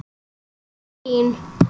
í Berlín.